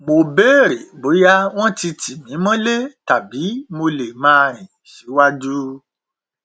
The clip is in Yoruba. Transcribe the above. mo bèrè bóyá wọn ti tì mí mọlé tàbí mo lè máa rìn síwájú